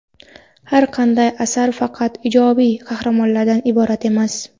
Har qanday asar faqat ijobiy qahramonlardan iborat emas.